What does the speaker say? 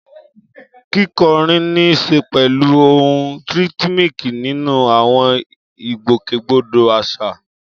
Kíkọrin ní í ṣe pẹ̀lú ohùn rhythmic nínú àwọn ìgbòkègbodò àṣà.